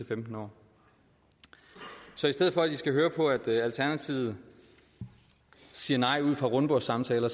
femten år så i stedet for at i skal høre på at alternativet siger nej ud fra rundbordssamtaler